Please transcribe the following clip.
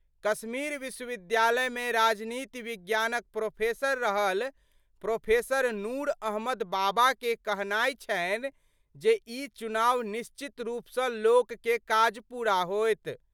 कश्मीर विश्वविद्यालय मे राजनीति विज्ञानक प्रोफेसर रहल प्रोफेसर नूर अहमद बाबा के कहनाय छनि जे ई चुनाव निश्चित रूप सं लोक के काज पूरा होएत।